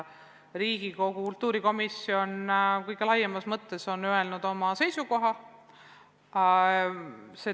Riigikogu kultuurikomisjon on oma seisukoha öelnud.